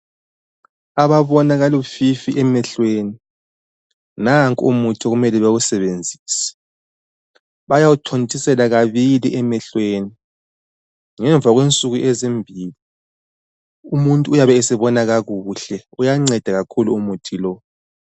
Ababona kalufifi emehlweni nanku umuthi okumele bawusebenzise. Bayawuthontieela kabili emehlweni ngemva kwensuku ezimbili umuntu uyabe esebona kakuhle. Uyanceda kakhulu umuthi lowu.